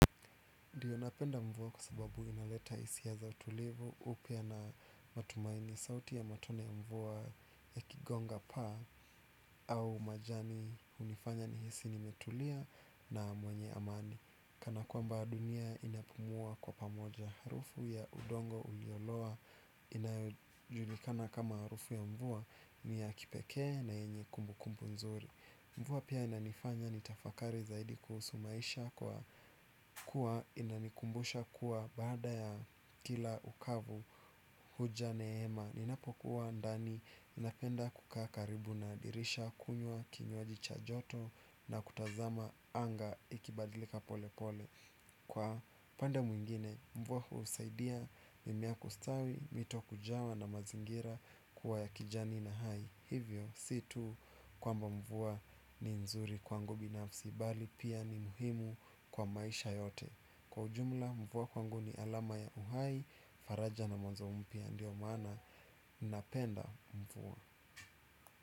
Ndiyo napenda mvua kwa sababu inaleta hisia za utulivu upya na matumaini sauti ya matone ya mvua ya ikigonga paa au majani hunifanya nihisi nimetulia na mwenye amani. Kana kwamba dunia inapumua kwa pamoja. Harufu ya udongo uliolowa inayojulikana kama harufu ya mvua ni ya kipekee na yenye kumbu kumbu nzuri. Mvua pia inanifanya nitafakari zaidi kuhusu maisha kwa kuwa inanikumbusha kuwa bada ya kila ukavu huja neema. Ninapo kuwa ndani inapenda kuka karibu na dirisha kunywa kinywaji cha joto na kutazama anga ikibadilika pole pole. Kwa upande mwingine mvua kusaidia mimea kustawi mito kujawa na mazingira kuwa ya kijani na hai. Hivyo sio tu kwamba mvua ni nzuri kwangu binafsi bali pia ni muhimu kwa maisha yote. Kwa ujumla mvua kwangu ni alama ya uhai. Faraja na mwanzo mpya ndio mana ninapenda mvua.